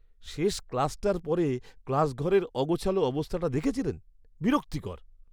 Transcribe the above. শেষ ক্লাসটার পরে ক্লাসঘরের অগোছালো অবস্থাটা দেখেছিলেন? বিরক্তিকর!